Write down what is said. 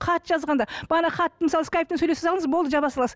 хат жазғанда бағанағы хат мысалы скайппен сөйлессеңіз болды жаба саласыз